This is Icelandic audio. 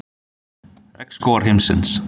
Regnskógar heimsins.